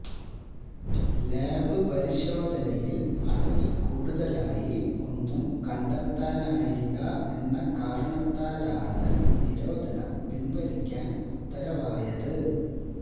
lab പരിശോധനയില് അളവില് കൂടുതലായി ഒന്നും കണ്ടെത്താനായില്ല എന്ന കാരണത്താലാണ് നിരോധനം പിന്വലിക്കാന് ഉത്തരവായത്